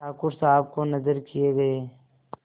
ठाकुर साहब को नजर किये गये